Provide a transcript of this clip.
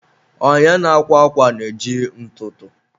onye na-akwa akwa na-eji ntụtụ.